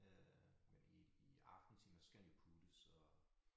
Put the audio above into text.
Øh men i i aftentimerne så skal han jo puttes og